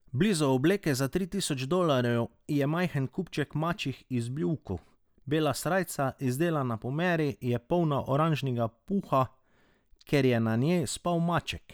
Blizu obleke za tri tisoč dolarjev je majhen kupček mačjih izbljuvkov, bela srajca, izdelana po meri, je polna oranžnega puha, ker je na njej spal maček.